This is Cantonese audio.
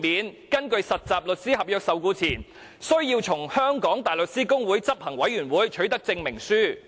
他們根據實習律師合約受僱前，須取得香港大律師公會執行委員會的證明書。